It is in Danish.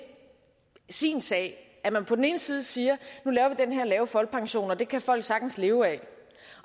sin sag at man på den ene side siger at den her lave folkepension og den kan folk sagtens leve af